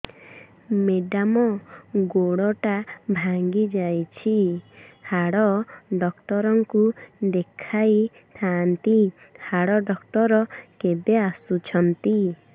madam ଗୋଡ ଟା ଭାଙ୍ଗି ଯାଇଛି ହାଡ ଡକ୍ଟର ଙ୍କୁ ଦେଖାଇ ଥାଆନ୍ତି ହାଡ ଡକ୍ଟର କେବେ ଆସୁଛନ୍ତି